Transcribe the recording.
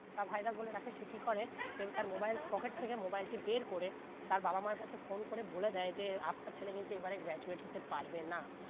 তা virus বলে ডাকে সে কি করে সে তার Mobile পকেট থেকে mobile টি বের করে তার বাবা মা কাছে phone করে বলে দেয় যে আপনার ছেলে কিন্তু এই বারে graduate হতে পারবে না